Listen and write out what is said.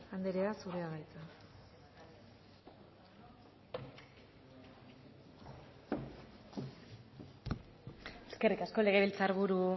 anderea zurea da hitza eskerrik asko legebiltzar buru